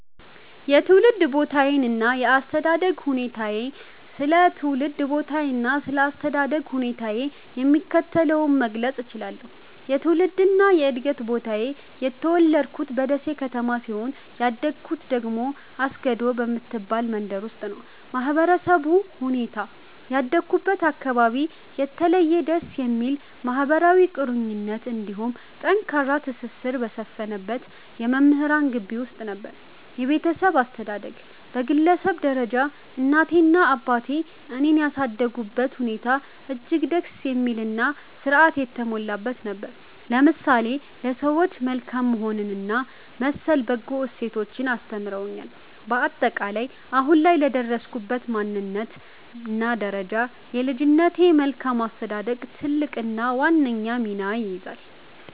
የትውልድ ቦታዬና የአስተዳደግ ሁኔታዬ ስለ ትውልድ ቦታዬና ስለ አስተዳደግ ሁኔታዬ የሚከተለውን መግለጽ እችላለሁ፦ የትውልድና የዕድገት ቦታዬ፦ የተወለድኩት በደሴ ከተማ ሲሆን፣ ያደግኩት ደግሞ አስገዶ በምትባል መንደር ውስጥ ነው። የማህበረሰቡ ሁኔታ፦ ያደግኩበት አካባቢ የተለየና ደስ የሚል ማህበራዊ ቁርኝት እንዲሁም ጠንካራ ትስስር በሰፈነበት የመምህራን ግቢ ውስጥ ነበር። የቤተሰብ አስተዳደግ፦ በግለሰብ ደረጃ እናቴና አባቴ እኔን ያሳደጉበት ሁኔታ እጅግ ደስ የሚልና ሥርዓት የተሞላበት ነበር፤ ለምሳሌ ለሰዎች መልካም መሆንንና መሰል በጎ እሴቶችን አስተምረውኛል። ባጠቃላይ፦ አሁን ላይ ለደረስኩበት ማንነትና ደረጃ የልጅነቴ መልካም አስተዳደግ ትልቁንና ዋነኛውን ሚና ይይዛል።